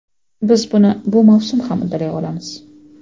biz buni bu mavsum ham uddalay olamiz.